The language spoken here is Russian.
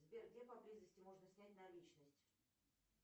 сбер где поблизости можно снять наличность